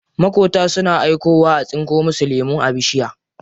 Maƙota suna aikowa a tsinko musu lemu a bishiya.